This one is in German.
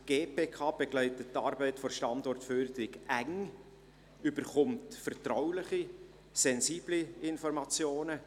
Die GPK begleitet die Arbeit der Standortförderung eng, erhält vertrauliche, sensible Informationen.